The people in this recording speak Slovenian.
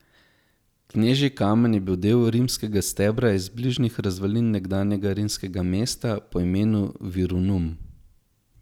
Knežji kamen je bil del rimskega stebra iz bližnjih razvalin nekdanjega rimskega mesta, po imenu Virunum.